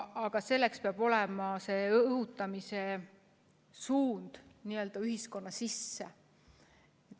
Aga selleks peab see õhutamine olema suunatud n-ö ühiskonna sisse.